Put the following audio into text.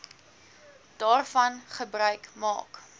daarvan gebruik maak